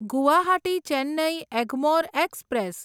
Guwahati Chennai Egmore express